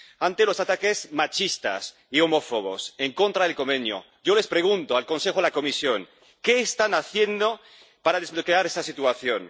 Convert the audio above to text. Ante los ataques machistas y homófobos en contra del Convenio, yo pregunto al Consejo y a la Comisión ¿Qué están haciendo para desbloquear esta situación?